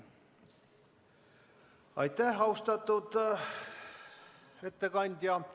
Aitäh, austatud ettekandja!